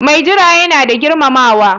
Mai jira yana da girmamawa.